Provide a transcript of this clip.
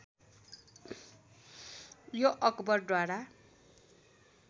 यो अकबर द्वारा